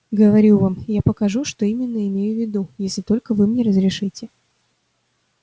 говорю вам я покажу что именно имею в виду если только вы мне разрешите